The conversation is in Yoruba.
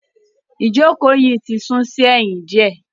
Ìjókòó yìí ti sún sí ẹ̀yìn diẹ.